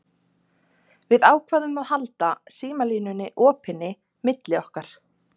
Við ákváðum að halda símalínunni opinni milli okkar.